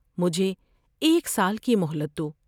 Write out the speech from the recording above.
مجھے ایک سال کی مہلت دو ۔